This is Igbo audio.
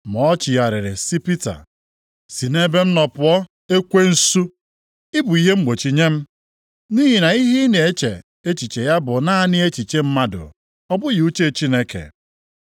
Ma o chigharịrị sị Pita, “Si nʼebe m nọ pụọ, ekwensu! Ị bụ ihe mgbochi nye m. Nʼihi na ihe ị na-eche echiche ya bụ naanị echiche mmadụ, ọ bụghị uche Chineke.”